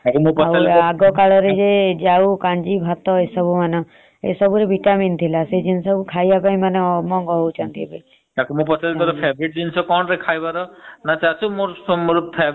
ତାକୁ ମୁ ପଚାରିଲି ତୋ favourite ଜିନିଷ କଣରେ ଖାଇବାର? ନ ଚାଚୁ ମୋ favourite ଜିନିଷ ହଉଛି ପନିର ଟୀକା । ହେ ହେ କଣ କରିବ ଏମତି ସବୁ ଆଉ